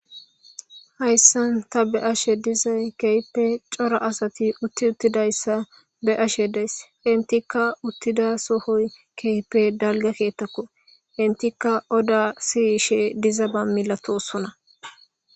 Haysan ta be'ashe dazay kehipe c'ora asati utiutidaysa be'ashe days entika utida sohoy kehipe dalga kethako entika oda siyshe dizaba milatosona.